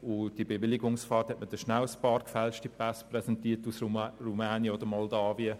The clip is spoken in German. Beim Bewilligungsverfahren hat man schnell ein paar gefälschte Pässe aus Rumänien oder Moldawien präsentiert.